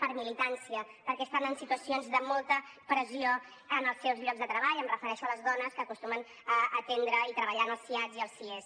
per militància perquè estan en situacions de molta pressió en els seus llocs de treball em refereixo a les dones que acostumen a atendre i treballar en els siads i els sies